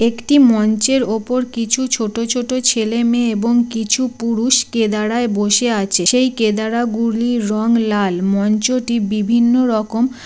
একটি মঞ্চের ওপর কিছু ছোট ছোট ছেলে মেয়ে এবং কিছু পুরুষ কেদারায় বসে আছে। সেই কেদারা গুলির রং লাল মঞ্চটি বিভিন্ন রকম ।